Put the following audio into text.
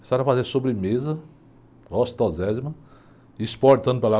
Precisaram fazer sobremesa, gostosésima, exportando para lá.